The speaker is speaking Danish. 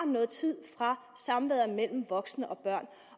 noget tid fra samværet mellem voksne og børn